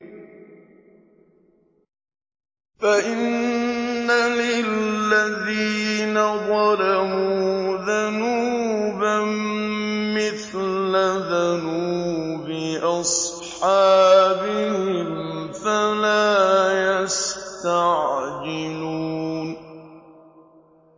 فَإِنَّ لِلَّذِينَ ظَلَمُوا ذَنُوبًا مِّثْلَ ذَنُوبِ أَصْحَابِهِمْ فَلَا يَسْتَعْجِلُونِ